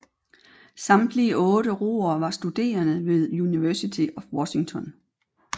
Samtlige otte roere var studerende ved University of Washington